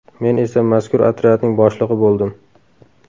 Men esa mazkur otryadning boshlig‘i bo‘ldim.